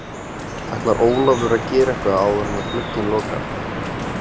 Ætlar Ólafur að gera eitthvað áður en glugginn lokar?